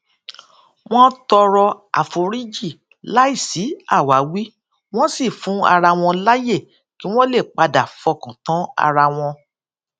wón tọrọ àforíjì láìsí àwáwí wón sì fún ara wọn láyè kí wón lè padà fọkàn tán ara wọn